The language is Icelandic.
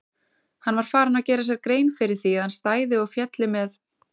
Hann var farinn að gera sér grein fyrir því að hann stæði og félli með